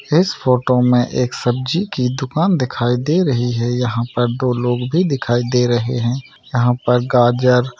इस फोटो मे एक सब्जी की दुकान दिखाई दे रही है यहा पर दो लोग भी दिखाई दे रहे है यहा पर गाजर --